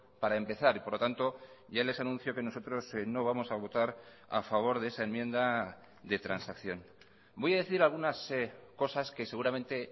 para empezar y por lo tanto ya les anuncio que nosotros no vamos a votar a favor de esa enmienda de transacción voy a decir algunas cosas que seguramente